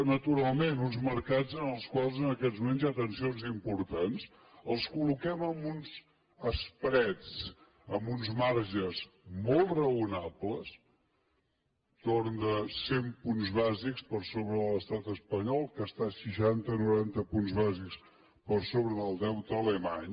naturalment uns mercats en els quals en aquests moments hi ha tensions importants els col·loquem amb uns spreads amb uns marges molt raonables entorn de cent punts bàsics per sobre de l’estat espanyol que està a seixanta o noranta punts bàsics per sobre del deute alemany